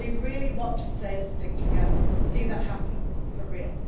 They really want to see us stick together and see that happen for real.